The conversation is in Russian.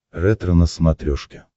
ретро на смотрешке